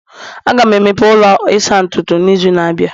Aga m emepe ụlọ ịsa ntutu n'izu na-abịa